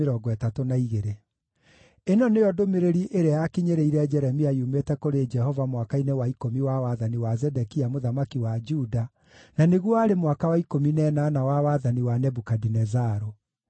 Ĩno nĩyo ndũmĩrĩri ĩrĩa yakinyĩrĩire Jeremia yumĩte kũrĩ Jehova mwaka-inĩ wa ikũmi wa wathani wa Zedekia mũthamaki wa Juda, na nĩguo warĩ mwaka wa ikũmi na ĩnana wa wathani wa Nebukadinezaru.